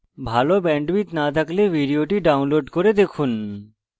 ভাল bandwidth না থাকলে ভিডিওটি download করে দেখুন